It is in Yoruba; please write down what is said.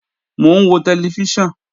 Mò ń wo tẹlifíṣàn